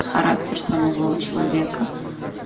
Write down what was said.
характер самого человека